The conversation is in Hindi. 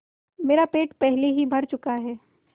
मेरा पेट पहले ही भर चुका है